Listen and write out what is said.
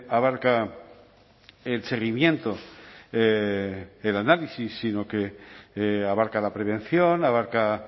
abarca el seguimiento del análisis sino que abarca la prevención abarca